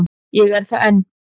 Ég er það enn.